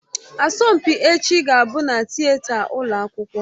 Asọmpi echi ga-abụ na Tịeta ụlọ akwụkwọ